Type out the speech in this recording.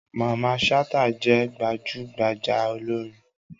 Mamman Shata je gbajugbaja olorin.